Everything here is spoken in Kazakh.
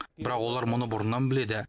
бірақ олар мұны бұрыннан біледі